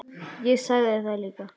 Ég sagði það líka.